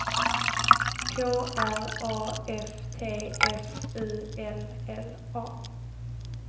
K R A F T F U L L A